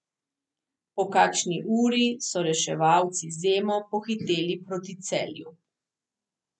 Po kakšni uri so reševalci z Emo pohiteli proti Celju.